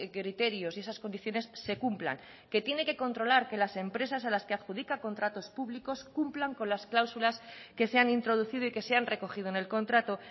criterios y esas condiciones se cumplan que tiene que controlar que las empresas a las que adjudica contratos públicos cumplan con las cláusulas que se han introducido y que se han recogido en el contrato